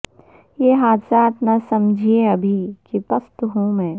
یہ حادثات نہ سمجھیں ابھی کہ پست ہوں میں